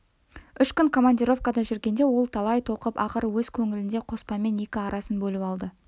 үш күн командировкада жүргенде ол талай толқып ақыры өз көңілінде қоспанмен екі арасын бөліп алды